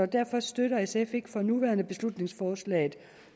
derfor støtter sf ikke for nuværende beslutningsforslaget